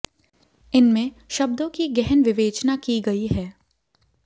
इनमें शब्दों की गहन विवेचना की गई है